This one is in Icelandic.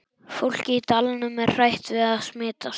Fólkið í dalnum er hrætt við að smitast.